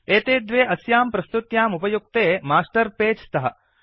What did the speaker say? एते द्वे अस्यां प्रस्तुत्याम् उपयुक्ते मास्टर् पेज् स्तः